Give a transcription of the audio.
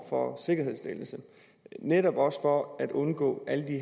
for sikkerhedsstillelse netop også for at undgå alle de